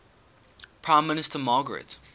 prime minister margaret